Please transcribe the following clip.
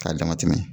K'a dama tɛmɛ